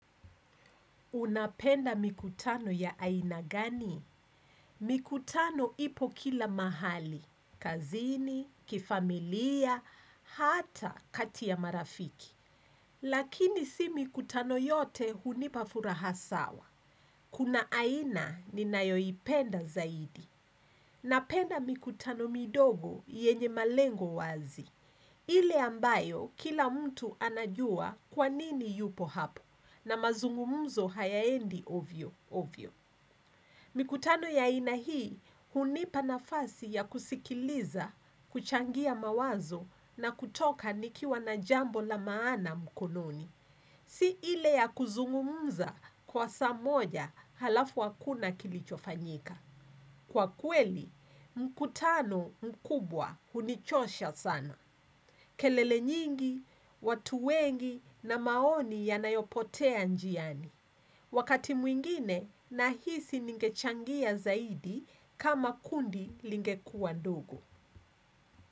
Unapenda mikutano ya aina gani? Mikutano ipo kila mahali. Kazini, kifamilia, hata kati ya marafiki. Lakini si mikutano yote hunipa furaha sawa. Kuna aina ninayoipenda zaidi. Napenda mikutano midogo yenye malengo wazi. Ile ambayo kila mtu anajua kwanini yupo hapo na mazungumuzo hayaendi ovyo ovyo. Mikutano ya aina hii hunipa nafasi ya kusikiliza, kuchangia mawazo na kutoka nikiwa na jambo la maana mkononi. Si ile ya kuzungumza kwa saa moja halafu hakuna kilichofanyika. Kwa kweli, mkutano mkubwa hunichosha sana. Kelele nyingi, watu wengi na maoni yanayopotea njiani. Wakati mwingine, nahisi ninge changia zaidi kama kundi lingekuwa dogo.